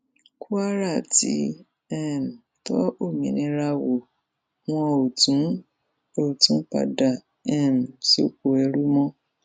kwara ti um tọ òmìnira wò wọn ò tún ò tún padà um sóko ẹrú mọ